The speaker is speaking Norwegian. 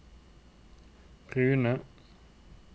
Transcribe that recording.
brune